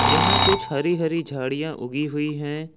यहां कुछ हरी हरी झाड़ियां उगी हुई हैं।